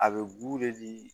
A bɛ